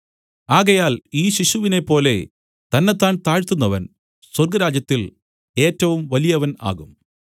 ആകയാൽ ഈ ശിശുവിനെപ്പോലെ തന്നെത്താൻ താഴ്ത്തുന്നവൻ സ്വർഗ്ഗരാജ്യത്തിൽ ഏറ്റവും വലിയവൻ ആകും